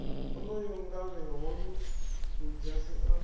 onoyo ngavhe hoyu ludzhasi a